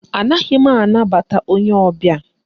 Anaghị m anabata onye ọbịa